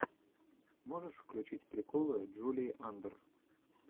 можешь включить приколы джулии андр